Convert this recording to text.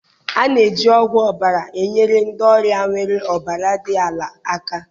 A na-eji ogwu ọbara enyere ndị ọrịa nwere ọbara dị ala aka.